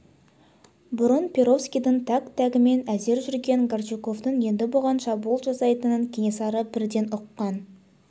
бұрын перовскийдің тәк-тәгімен әзер жүрген горчаковтың енді бұған шабуыл жасайтынын кенесары бірден ұққан